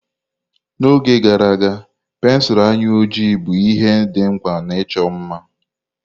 N'oge gara aga, pensụl anya ojii bụ ihe dị mkpa na icho mma.